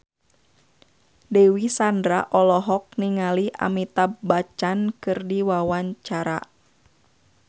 Dewi Sandra olohok ningali Amitabh Bachchan keur diwawancara